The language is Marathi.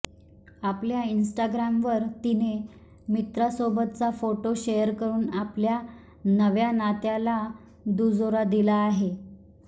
आपल्या इन्स्टाग्रामवर तिने मित्रासोबतचा फोटो शेअर करुन आपल्या नव्या नात्याला दुजोरा दिला आहे